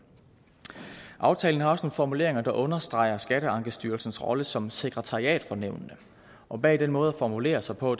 aftalen har også nogle formuleringer der understreger skatteankestyrelsens rolle som sekretariat for nævnene og bag den måde at formulere sig på